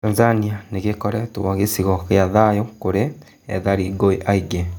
Tanzania nĩ gĩ koretwo gĩ cigo gĩ a thayu kũrĩ ethari ngũĩ aingĩ .